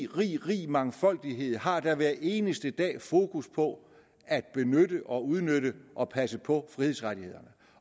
rig rig mangfoldighed har da hver eneste dag fokus på at benytte og udnytte og passe på frihedsrettighederne